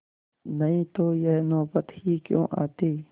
नहीं तो यह नौबत ही क्यों आती